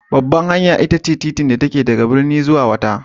Babbar hanya itace titin da yake daga birni ko jiha zuwa wata.